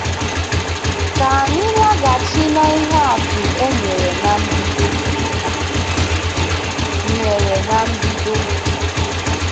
Ka anyị laghachi n'ihe atụ e nyere na mbido. nyere na mbido.